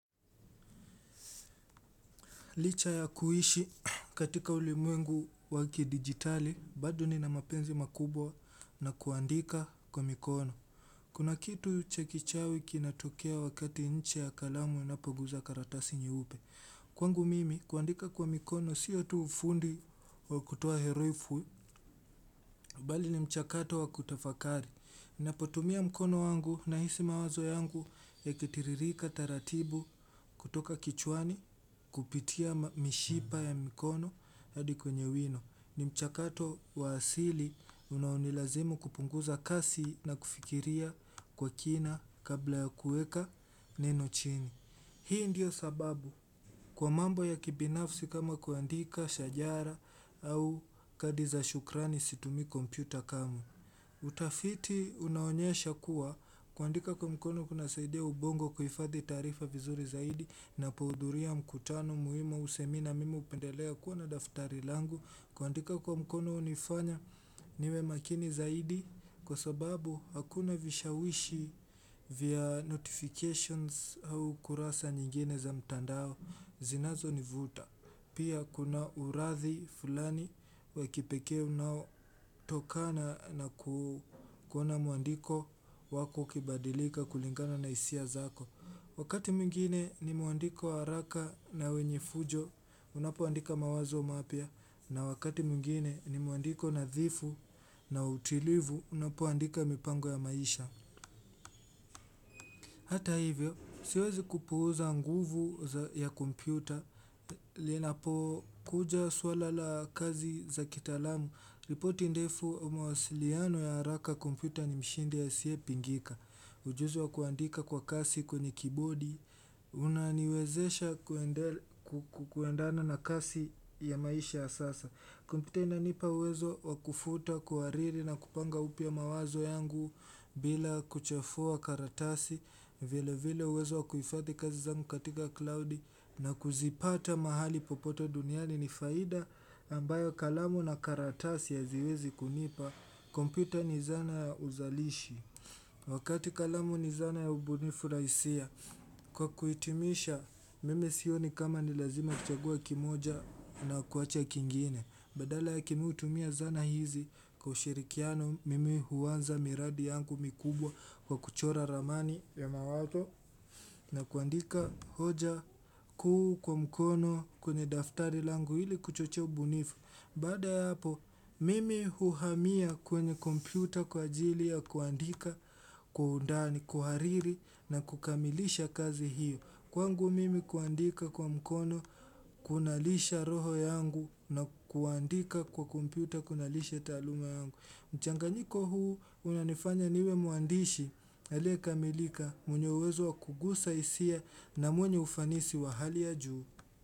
Licha ya kuishi katika ulimwengu wa kidijitali, bado nina mapenzi makubwa na kuandika kwa mikono. Kuna kitu cha kichawi kinatokea wakati ncha ya kalamu inapoguza karatasi nyupe. Kwangu mimi, kuandika kwa mikono, sio tu ufundi wa kutoa herufu, bali ni mchakato wa kutafakari. Ninapotumia mkono wangu nahisi mawazo yangu yakitiririka taratibu kutoka kichwani kupitia mishipa ya mikono hadi kwenye wino. Ni mchakato wa asili unaonilazimu kupunguza kasi na kufikiria kwa kina kabla ya kuweka neno chini. Hii ndiyo sababu kwa mambo ya kibinafsi kama kuandika, shajara au kadi za shukrani situmii kompyuta kamwe. Utafiti unaonyesha kuwa kuandika kwa mkono kunasaidia ubongo kuifadhi taarifa vizuri zaidi ninapohudhuria mkutano muhimu au semina mimi hupendelea kuwa na daftari langu kuandika kwa mkono hunifanya niwe makini zaidi kwa sababu hakuna vishawishi vya notifications au kurasa nyingine za mtandao zinazonivuta. Pia kuna urathi fulani wa kipekee unaotokana na kuona mwandiko wako ukibadilika kulingana na hisia zako. Wakati mwingine ni mwandiko wa haraka na wenye fujo, unapoandika mawazo mapya. Na wakati mwingine ni mwandiko nadhifu na utilivu, unapoandika mipango ya maisha. Hata hivyo, siwezi kupuuza nguvu ya kompyuta, linapokuja suala la kazi za kitaalamu, ripoti ndefu mawasiliano ya haraka kompyuta ni mshindi asiyepingika, ujuzi wa kuandika kwa kasi kwenye kibodi, kunaniwezesha kuendana na kasi ya maisha ya sasa. Kumpyuta inanipa uwezo wa kufuta kuhariri na kupanga upya mawazo yangu bila kuchafua karatasi vile vile uwezo wa kuhifadhi kazi zangu katika klaudi na kuzipata mahali popoto duniani ni faida ambayo kalamu na karatasi haziwezi kunipa Kumpyuta ni zana ya uzalishi Wakati kalamu ni zana ya ubunifu na hisia Kwa kuitimisha mimi sioni kama ni lazima kuchagua kimoja na kuacha kingine Badala yake mimi hutumia zana hizi kwa ushirikiano mimi huanza miradi yangu mikubwa kwa kuchora ramani ya mawazo na kuandika hoja kuu kwa mkono kwenye daftari langu ili kuchochea ubunifu. Baada ya hapo, mimi uhamia kwenye kompyuta kwa ajili ya kuandika, kwa undani, kuhariri na kukamilisha kazi hiyo. Kwangu mimi kuandika kwa mkono, kunalisha roho yangu na kuandika kwa kompyuta, kunalisha taaluma yangu. Mchanganyiko huu, unanifanya niwe mwandishi, aliyekamilika, mwenye uwezo wa kugusa hisia na mwenye ufanisi wa hali ya juu.